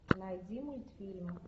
найди мультфильм